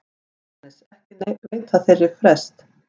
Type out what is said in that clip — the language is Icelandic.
JÓHANNES: Ekki veita þeir frest.